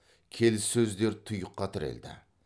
келіссөздер тұйыққа тірелді